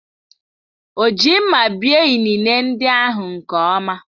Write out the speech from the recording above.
O ji mma bie inine ndị ahụ nke ọma